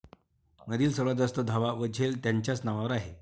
मधील सर्वात जास्त धावा व झेल त्यांच्याच नावावर आहे